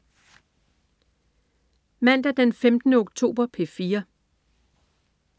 Mandag den 15. oktober - P4: